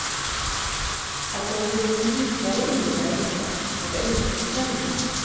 Att jag blivit mjukare innebär inte att jag inte bestämmer.